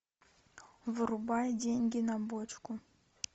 врубай деньги на бочку